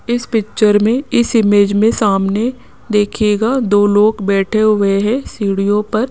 इस पिक्चर में इस इमेज में सामने देखिएगा दो लोग बैठे हुए हैं सीढ़ियों पर।